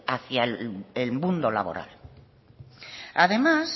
hacia el mundo laboral además